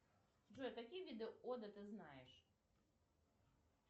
джой какие виды оды ты знаешь